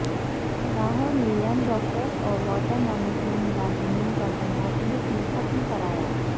لاہورمیں young doctors اور water management ملازمین کا دھرنا پولیس نے ختم کرایا